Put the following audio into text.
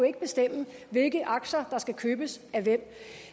ikke bestemme hvilke aktier der skal købes af hvem